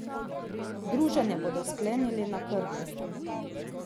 Druženje bodo sklenili na Krku.